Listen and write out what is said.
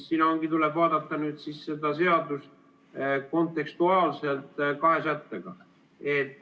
Tuleb vaadata seda seadust kontekstuaalselt kahe sättega.